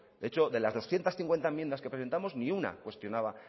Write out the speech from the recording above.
de hecho de las doscientos cincuenta enmiendas que presentamos ni una cuestionaba